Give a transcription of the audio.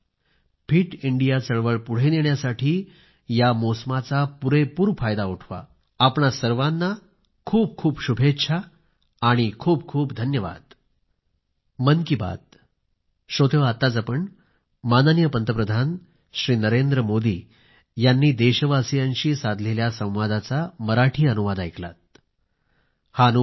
fit India चळवळ पुढे नेण्यासाठी या मोसमाचा संपूर्ण फायदा उठवा आपणा सर्वांना खूप खूप शुभेच्छा आणि खूप खूप धन्यवाद